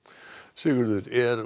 Sigurður er